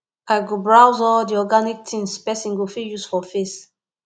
i go browse all the organic things person go fit use for face